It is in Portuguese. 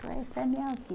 Então, essa é a minha